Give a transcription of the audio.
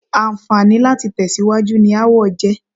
Àǹfààní láti tẹ̀síwájú ni aáwọ̀ jẹ́.